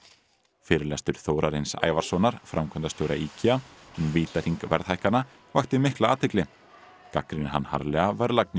fyrirlestur Þórarins framkvæmdastjóra IKEA um vítahring verðhækkana vakti mikla athygli gagnrýnir hann harðlega verðlagningu